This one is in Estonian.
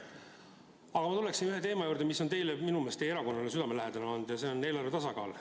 Aga ma tuleksin ühe teema juurde, mis minu meelest on olnud teile ja teie erakonnale südamelähedane olnud, see on eelarve tasakaal.